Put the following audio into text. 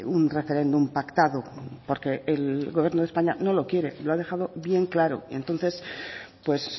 un referéndum pactado porque el gobierno de españa no lo quiere lo ha dejado bien claro entonces pues